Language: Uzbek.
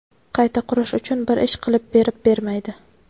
qayta qurish uchun bir ish qilib berib bermaydi.